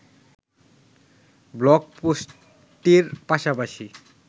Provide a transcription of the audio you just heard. blog পোস্টটির পাশাপাশি